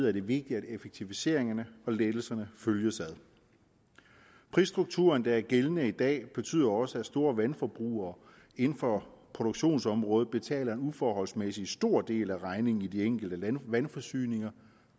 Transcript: er det vigtigt at effektiviseringerne og lettelserne følges ad prisstrukturen der er gældende i dag betyder jo også at store vandforbrugere inden for produktionsområdet betaler en uforholdsmæssigt stor del af regningen i de enkelte vandforsyninger